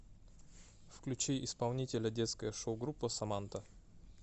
включи исполнителя детская шоу группа саманта